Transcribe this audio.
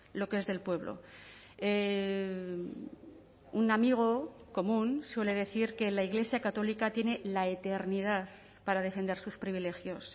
lo que es del pueblo un amigo común suele decir que la iglesia católica tiene la eternidad para defender sus privilegios